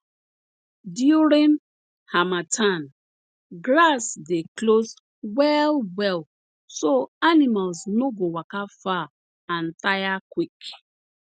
during harmattan grass dey close wellwell so animals no go waka far and tire quick